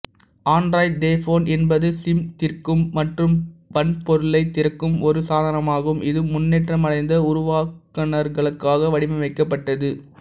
Android dev phone என்பது சிம்திறக்கும் மற்றும் வன்பொருளைத் திறக்கும் ஒரு சாதனமாகும் இது முன்னேற்றமடைந்த உருவாக்குநர்களுக்காக வடிவமைக்கப்பட்டது